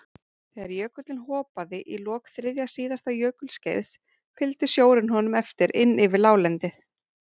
Þegar jökullinn hopaði í lok þriðja síðasta jökulskeiðs fylgdi sjórinn honum eftir inn yfir láglendið.